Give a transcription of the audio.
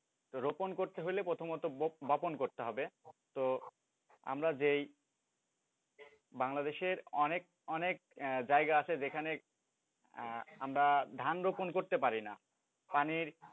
রোপণ করতে হলে প্রথমত বপন করতে হবে তো আমরা যেই বাংলাদশের অনেক অনেক জায়গা আছে যেখানে আমরা ধান রোপণ করতে পারি না পানির,